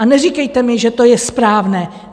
A neříkejte mi, že to je správné!